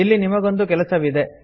ಇಲ್ಲಿ ನಿಮಗೊಂದು ಕೆಲಸವಿದೆ